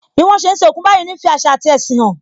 Bí wọn ṣe ń sin òkú báyìí ń fi àṣà ati ẹṣin hàn